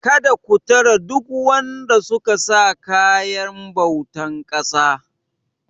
Kada ku tare duk wanda suka sa kayan bautar ƙasa.!